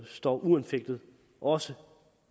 står uanfægtet også